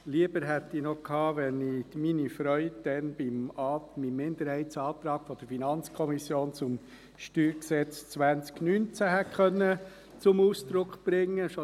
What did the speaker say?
Noch lieber wäre mir gewesen, wenn ich meine Freude damals beim Minderheitsantrag der FiKo zum StG 2019 hätte zum Ausdruck bringen können.